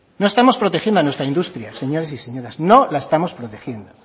no estamos protegiendo a nuestra industria señores y señoras no la estamos protegiendo